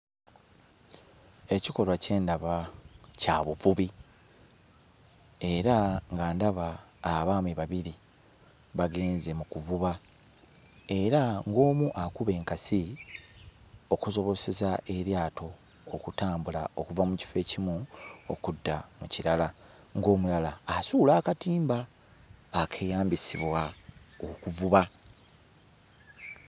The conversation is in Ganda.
Ekikolwa kye ndaba kya buvubi, era nga ndaba abaami babiri bagenze mu kuvuba, era ng'omu akuba enkasi okusobozesa eryato okutambula okuva mu kifo ekimu okudda mu kirala ng'omulala asuula akatimba akeeyambisibwa okuvuba.